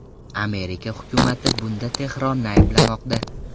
Amerika hukumati bunda Tehronni ayblamoqda.